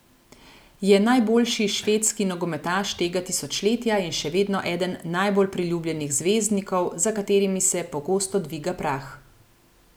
Je najboljši švedski nogometaš tega tisočletja in še vedno eden najbolj priljubljenih zvezdnikov, za katerimi se pogosto dviga prah.